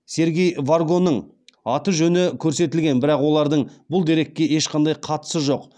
сергей варгоның аты жөні көрсетілген бірақ олардың бұл дерекке ешқандай қатысы жоқ